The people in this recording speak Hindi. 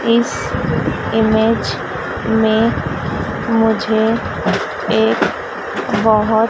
इस इमेज में मुझे एक बहोत--